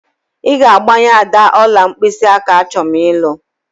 Ị ga-agbanye Ada ọla mkpịsịaka achọm ịlụ!